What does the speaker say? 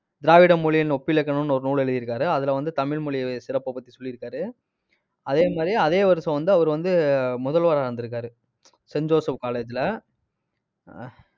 திராவிட மொழியின் ஒப்பிலக்கணம்ன்னு ஒரு நூல் எழுதியிருக்காரு. அதுல வந்து, தமிழ் மொழி சிறப்பைப் பத்தி சொல்லியிருக்காரு. அதே மாதிரி அதே வருஷம் வந்து அவர் வந்து முதல்வரா இருந்திருக்காரு saint joseph college ல ஆஹ்